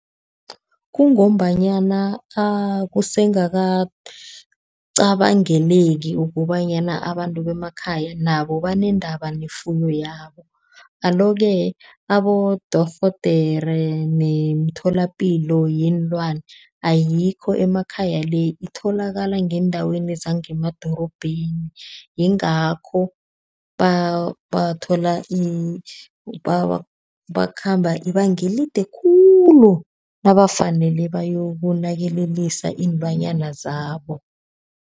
Kungombanyana akuse ngakacabangeleki ukobanyana abantu bemakhaya nabo banendaba nefuyo yabo. Alo-ke abodorhodere nemitholapilo yeenlwane ayikho emakhaya le. Itholakala ngendaweni zangemadorobheni yingakho bathola, bakhamba ibanga elide khulu nabafanele bayokunakelelisa iinlwanyana zabo.